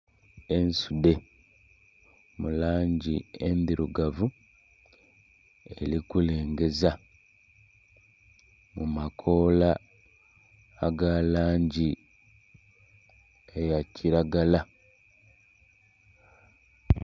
Ensudhe mu langi endhirugavu eri kulengeza mumakoola aga langi eya kiragala.